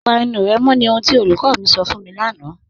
Pà ènù rẹ mọ̀ ní ohun tí olúkọ̀ mi sọ̀ fún mi lánà.